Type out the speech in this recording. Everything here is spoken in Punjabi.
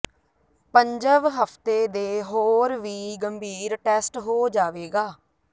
ਪੰਜਵ ਹਫ਼ਤੇ ਦੇ ਹੋਰ ਵੀ ਗੰਭੀਰ ਟੈਸਟ ਹੋ ਜਾਵੇਗਾ